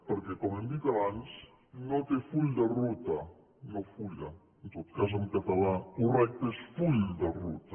perquè com hem dit abans no té full de ruta no fulla en tot cas en català correcte és full de ruta